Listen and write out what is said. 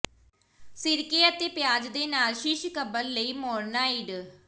ਸਿਰਕੇ ਅਤੇ ਪਿਆਜ਼ ਦੇ ਨਾਲ ਸ਼ਿਸ਼ ਕਬਰ ਲਈ ਮੋਰਨਾਈਡ